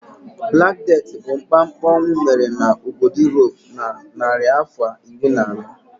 Black Death bụ mkpamkpa ọnwụ mere n'obodo Europe na narịafọ iri na anọ.